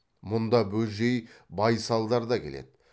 мұнда бөжей байсалдар да келеді